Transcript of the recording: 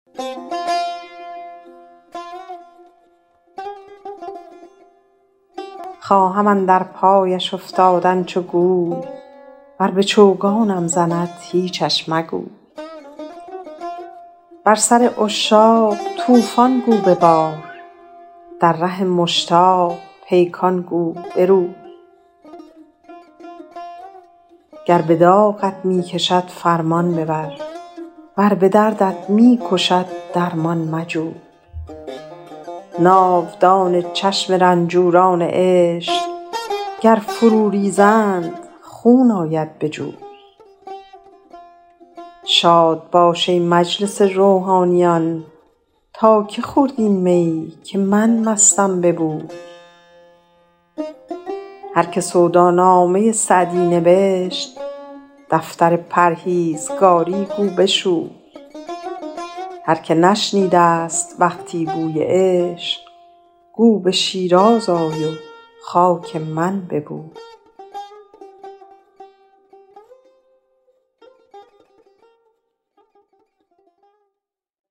خواهم اندر پایش افتادن چو گوی ور به چوگانم زند هیچش مگوی بر سر عشاق طوفان گو ببار در ره مشتاق پیکان گو بروی گر به داغت می کند فرمان ببر ور به دردت می کشد درمان مجوی ناودان چشم رنجوران عشق گر فرو ریزند خون آید به جوی شاد باش ای مجلس روحانیان تا که خورد این می که من مستم به بوی هر که سودا نامه سعدی نبشت دفتر پرهیزگاری گو بشوی هر که نشنیده ست وقتی بوی عشق گو به شیراز آی و خاک من ببوی